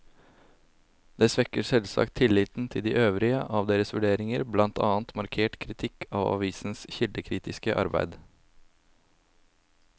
Det svekker selvsagt tilliten til de øvrige av deres vurderinger, blant annet markert kritikk av avisenes kildekritiske arbeid.